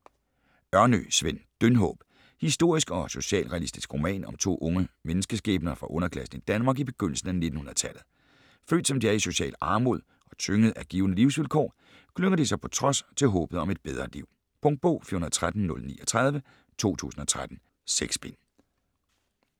Ørnø, Sven: Dyndhåb Historisk og socialrealistisk roman om to unge menneskeskæbner fra underklassen i Danmark i begyndelsen af 1900-tallet. Født som de er i social armod, og tyngede af givne livsvilkår, klynger de sig på trods til håbet om et bedre liv. Punktbog 413039 2013. 6 bind.